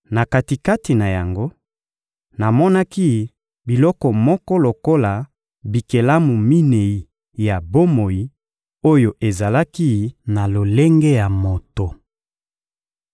Na kati-kati na yango, namonaki biloko moko lokola bikelamu minei ya bomoi oyo ezalaki na lolenge ya moto.